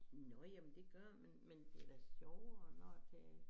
Nå jamen det gør det men men det da sjovere når det